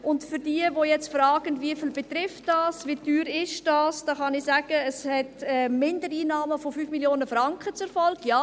Denjenigen, die jetzt fragen, wie viele das betrifft, wie teuer das ist, kann ich sagen, dass es Mindereinnahmen von 5 Mio. Franken zur Folge hat.